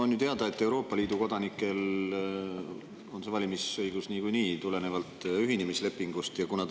On ju teada, et Euroopa Liidu kodanikel on see valimisõigus tulenevalt ühinemislepingust niikuinii.